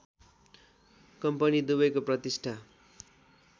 company दुबैको प्रतिष्ठा